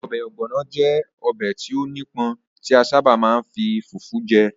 Ọbẹ̀ Ogbono jẹ́ ọbẹ̀ tí ó nípọn tí a sábà máa ń fi fufu je.